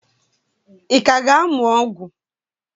Ị ka ga-amụ ọgwụ?